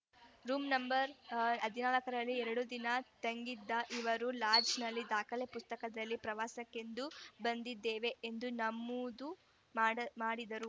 room number ಹದಿನಾಲ್ಕರಲ್ಲಿ ಎರಡು ದಿನ ತಂಗಿದ್ದ ಇವರು ಲಾಡ್ಜ್‌ನ ದಾಖಲೆ ಪುಸ್ತಕದಲ್ಲಿ ಪ್ರವಾಸಕ್ಕೆಂದು ಬಂದಿದ್ದೇವೆ ಎಂದು ನಮೂದು ಮಾಡು ಮಾಡಿದ್ದರು